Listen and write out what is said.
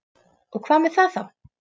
Og hvað með það þá?